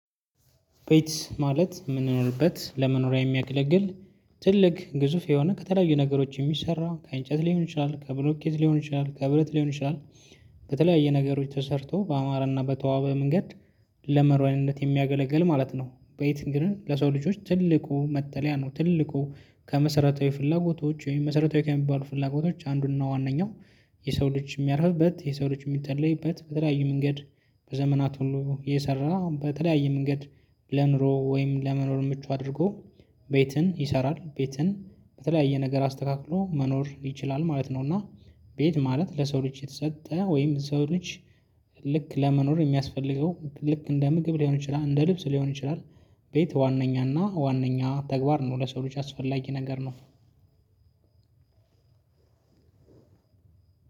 ቤት ማለት የምንኖርበት ለመኖሪያ የሚያገለግል ትልቅ ግዙፍ የሆነ ከተለያዩ ነገሮች የሚሰራ ከእንጨት ሊሆን ይችላል ከብሎኬት ሊሆን ይችላል ከብረት ሊሆን ይችላል። ከተለያየ ነገሮች ተሰርቶ ባማረና በተዋበ መንገድ ለመኖርያነት የሚያገለግል ማለት ነው። ቤት እንግዲህ ለሰው ልጆች ትልቁ መጠለያ ነው። ትልቁ ከመሰረታዊ ፍላጎቶች ወይም መሰረታዊ ከሚባሉ ፍላጎቶች አንዱንና ዋነኛው። የሰው ልጅ የሚያርፍበት የሰው ልጅ የሚጠለይበት በተለያዩ መንገድ በዘመናት ሁሉ እየሰራ በተለያየ መንገድ። ለኑሮ ወይም ለመኖር ምቹ አድርጎ ቤትን ይሰራል። ቤትን በተለያየ ነገር አስተካክሎ መኖር ይችላል ማለት ነው። እና። ቤት ማለት ለሰው ልጅ የተሰጠ ወይም ሰው ልጅ ልክ ለመኖር የሚያስፈልገው ልክ እንደ ምግብ ሊሆን ይችላል እንደ ልብስ ሊሆን ይችላል። ቤት ዋነኛና ዋናኛ ተግባር ነው ለሰው ልጅ አስፈላጊ ነገር ነው።